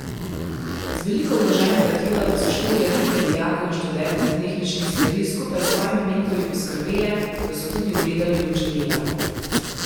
Z veliko vloženega truda pa so štiri ekipe dijakov in študentov tehničnih smeri skupaj s svojimi mentorji poskrbele, da so tudi ugledali luč dneva.